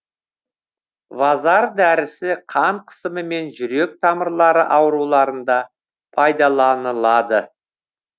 вазар дәрісі қан қысымы мен жүрек тамырлары ауруларында пайдаланылады